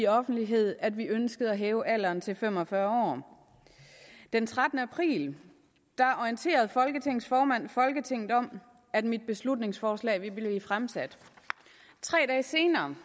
offentligt at vi ønsker at hæve alderen til fem og fyrre år den trettende april orienterede folketingets formand folketinget om at mit beslutningsforslag ville blive fremsat tre dage senere